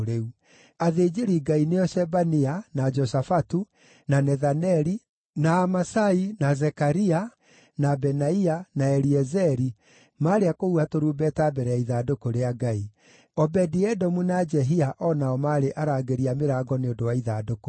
Athĩnjĩri-Ngai, nĩo Shebania, na Joshafatu, na Nethaneli, na Amasai, na Zekaria, na Benaia, na Eliezeri maarĩ a kũhuha tũrumbeta mbere ya ithandũkũ rĩa Ngai. Obedi-Edomu na Jehia o nao maarĩ arangĩri a mĩrango nĩ ũndũ wa ithandũkũ rĩu.